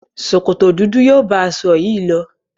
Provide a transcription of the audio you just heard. Sòkòtò dúdú yóò bá aṣọ yìí lọ.